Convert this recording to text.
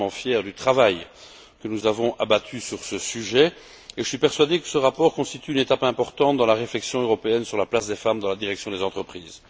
Je suis vraiment fier du travail que nous avons abattu sur ce sujet, et je suis persuadé que ce rapport constitue une étape importante dans la réflexion européenne sur la place des femmes dans la direction des entreprises.